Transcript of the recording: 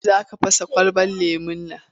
Bari! Za ka fasa kwalabar lemon nan.